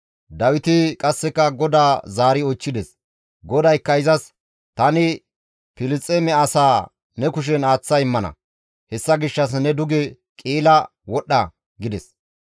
Dawiti qasseka GODAA zaari oychchides; GODAYKKA izas, «Tani Filisxeeme asaa ne kushen aaththa immana; hessa gishshas ne duge Qi7ila wodhdha» gides.